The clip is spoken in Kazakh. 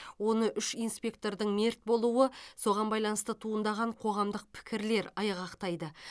оны үш инспектордың мерт болуы соған байланысты туындаған қоғамдық пікірлер айғақтайды